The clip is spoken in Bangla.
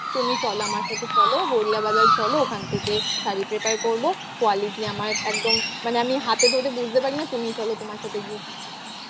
তুমি চলো আমার সাথে চলো গড়িয়া বাজার চলো ওখান থেকে শাড়ি prefer করবো quality আমায় একদম মানে আমি হাতে ধরে বুঝতে পারি না তুমি চলো তোমার সাথে গিয়ে কিনবো